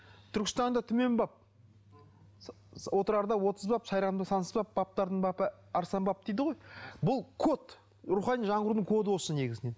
түркістанда түмен баб отырарда отыз баб сайранда сансыз баб бабтардың бабы арыстан баб дейді ғой бұл код рухани жаңғырудың коды осы негізінен